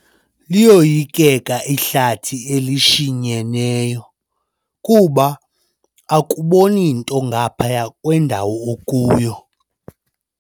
Liyoyikeka ihlathi elishinyeneyo kuba akuboni nto ngaphaya kwendawo okuyo.